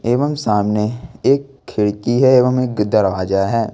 एवं सामने एक खिड़की है एवं एक दरवाजा है।